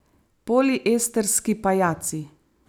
Poliestrski pajaci.